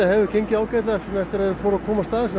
hefur gengið ágætlega eftir að við fórum að komast að þessu